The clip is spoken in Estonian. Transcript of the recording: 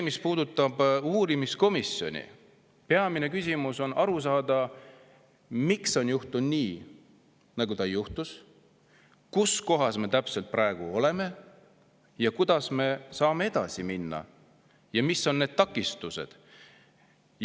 Mis puudutab uurimiskomisjoni, siis peamine on aru saada, miks on juhtunud nii, nagu juhtus, kus kohas me praegu täpselt oleme, kuidas me saame edasi minna ja mis on takistused.